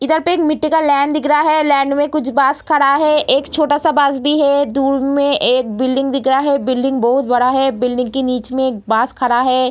इधर पे एक मिट्टी का लैंड दिख रहा है लैंड मे कुछ बस खड़ा है एक छोटा सा बस भी है दूर मे एक बिल्डिंग दिख रहा है बिल्डिंग बहुत बड़ा है बिल्डिंग के बीच मे एक बस खड़ा है।